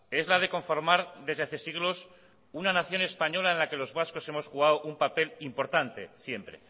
es la de conformar desde hace siglos una nación española en la que los vascos hemos jugado un papel importante siempre